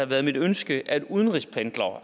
været mit ønske at udenrigspendlere